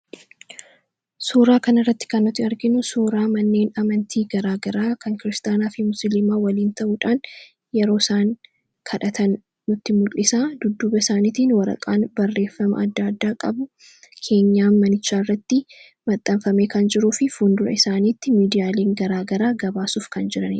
suuraa kan irratti kannooti arginu suuraa manneen amantii garaagaraa kan kiristaanaa fi muslimaa waliin ta'uudhaan yeroo isaan kadhatan nutti mul'isa dudduba isaaniitiin waraqaan barreeffama adda addaa qabu keenyaa manichaa irratti maxxaanfame kan jiruu fi fundura isaaniitti miidiyaaliin garaagaraa gabaasuuf kan jiranie